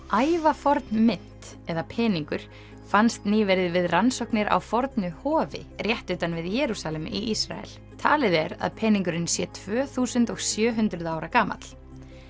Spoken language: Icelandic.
ævaforn mynt eða peningur fannst nýverið við rannsóknir á fornu hofi rétt utan við Jerúsalem í Ísrael talið er að peningurinn sé tvö þúsund og sjö hundruð ára gamall